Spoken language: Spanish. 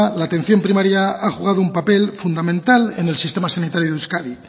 la atención primaria ha jugado un papel fundamental en el sistema sanitario de euskadi